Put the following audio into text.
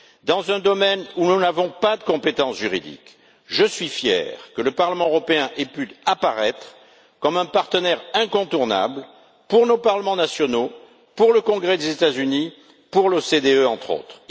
Dans un domaine où nous n'avons pas de compétences juridiques, je suis fier que le Parlement européen ait pu apparaître comme un partenaire incontournable pour nos parlements nationaux, pour le Congrès des États Unis et pour l'OCDE, entre autres.